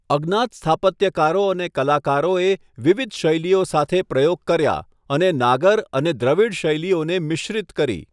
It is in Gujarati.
અજ્ઞાત સ્થાપત્યકારો અને કલાકારોએ વિવિધ શૈલીઓ સાથે પ્રયોગ કર્યા અને નાગર અને દ્રવિડ શૈલીઓને મિશ્રિત કરી.